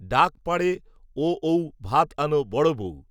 ডাক, পাড়ে, ও, ঔ, ভাত আনো, বড়ো বৌ